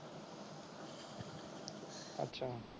ਅੱਛਾ।